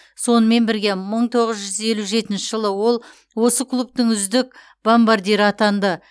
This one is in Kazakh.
сонымен бірге мың тоғыз жүз елу жетінші жылы ол осы клубтың үздік бомбардирі атанды